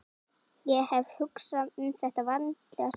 Ég hef hugsað þetta vandlega síðan í dag.